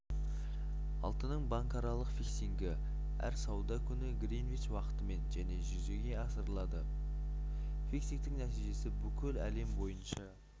алтынның банкаралық фиксингі әр сауда күні гринвич уақытымен және жүзеге асырылады фиксингтің нәтижесі бүкіл әлем бойынша